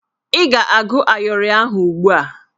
Ị ga-agụ ayịọrị ahụ ugbu a!